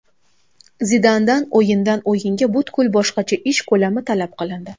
Zidandan o‘yindan o‘yinga butkul boshqacha ish ko‘lami talab qilindi.